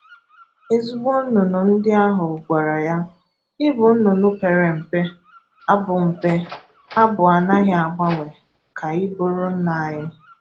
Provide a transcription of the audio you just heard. Ezigbo nnụnụ ndị ahụ gwàrà ya, “Ị bụ nnụnụ pere mpe, abụ̀ mpe, abụ̀ anaghi agbanwe ka ị bụrụ nna anyị.”